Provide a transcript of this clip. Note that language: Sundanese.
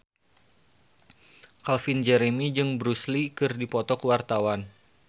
Calvin Jeremy jeung Bruce Lee keur dipoto ku wartawan